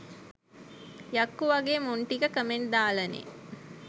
යක්කු වගෙ මුං ටික කමෙන්ට් දාලනෙ